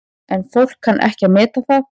En fólk kann ekki að meta það.